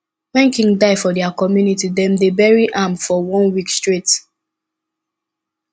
when king die for dia community dem dey bury am for one week straight